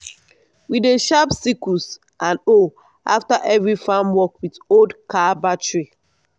we dey sharp sickles and hoe after every farm work with old car battery.